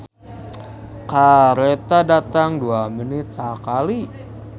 "Kareta datang dua menit sakali"